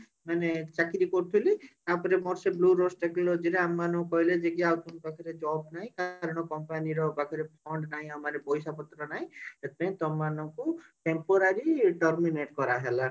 ମାନେ ଚାକିରି କରିଥିଲି ତାପରେ ମୋର ଏ bluedust ଚାକିରୀ ଆମ ମାନଙ୍କୁ କହିଲେ ଯେ ଆଉ ଆମ ପାଖରେ job ନାହିଁ କାରଣ company ର ପାଖରେ fund ନାହିଁ ଆମର ପଇସା ପତ୍ର ନାଇଁ ଶେଠୀ ପାଇଁ ତମମାନଙ୍କୁ temporary terminate କରାଗଲା